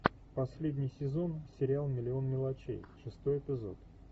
последний сезон сериал миллион мелочей шестой эпизод